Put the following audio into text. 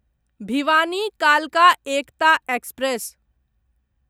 भिवानी कालका एकता एक्सप्रेस